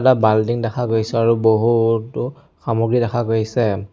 বাল্টিং দেখা গৈছে আৰু বহুতো সামগ্ৰী দেখা গৈছে।